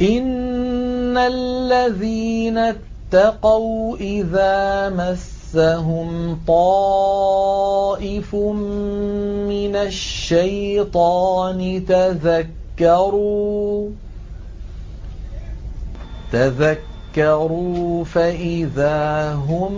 إِنَّ الَّذِينَ اتَّقَوْا إِذَا مَسَّهُمْ طَائِفٌ مِّنَ الشَّيْطَانِ تَذَكَّرُوا فَإِذَا هُم